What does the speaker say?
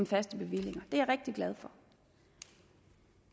faste bevillinger det er jeg rigtig glad for